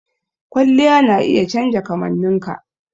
Kwalliya na iya canja kamanninka.